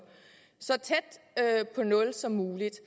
så tæt på nul som muligt